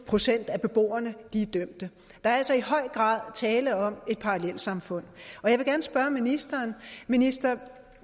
procent af beboerne er dømte der er altså i høj grad tale om et parallelsamfund og jeg vil gerne spørge ministeren ministeren